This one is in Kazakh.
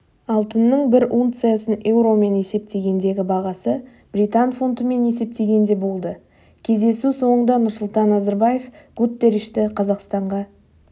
алтынның бір унциясының еуромен есептегендегі бағасы британ фунтымен есептегенде болды кездесу соңында нұрсұлтан назарбаев гутерришті қазақстанға